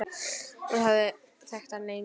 Ég hafði þekkt hana lengi.